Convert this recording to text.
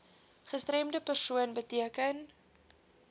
gestremde persoon beteken